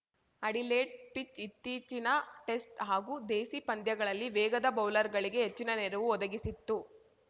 Adelaide pitch ಇತ್ತೀಚಿನ test ಹಾಗೂ ದೇಸಿ ಪಂದ್ಯಗಳಲ್ಲಿ ವೇಗದ ಬೌಲರ್‌ಗಳಿಗೆ ಹೆಚ್ಚಿನ ನೆರವು ಒದಗಿಸಿತ್ತು